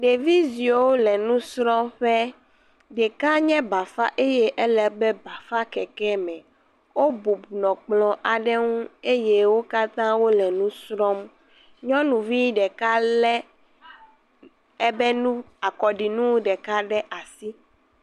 Ɖeviziwo le nusɔƒe ɖeka ɖeka nye bafa enɔ anyi ɖe eƒe bafakekeme wo bɔbɔ nɔ kplɔ aɖe nu eye wo katã wole nu srɔm nyɔnuvi ɖeka le ebe nu akɔɖinu ɖeka ɖe asi